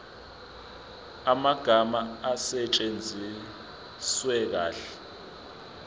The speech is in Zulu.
amagama asetshenziswe kahle